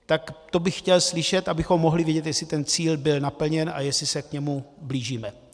Tak to bych chtěl slyšet, abychom mohli vidět, jestli ten cíl byl naplněn a jestli se k němu blížíme.